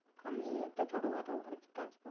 আমি এই একটা ছোট খাটো আর কি কাজ